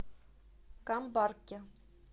камбарке